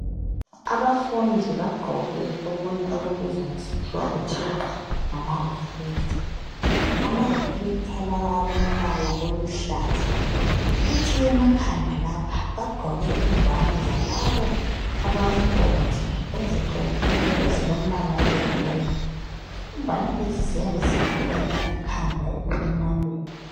Abafundi bagqoke okunye, okubizwa ngesikhiwa, okuthiwa ngama reflector. Amareflactor lawa, alombala oluhlaza. Kuthi emakhanda lapha, bagqoke ingwane zalabo abomgodi, eziqinileyo, ezilombala oyiyellow. Ingwane lezi ziyabe zivikela ikhanda ekulimaleni.